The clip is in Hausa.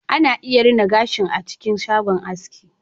Ana iya rina gashi a cikin shago aiski